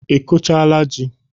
Ị kụchaala ji?